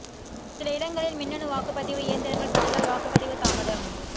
சில இடங்களில் மின்னணு வாக்குப் பதிவு இயந்திரங்கள் பழுதால் வாக்குப் பதிவு தாமதம்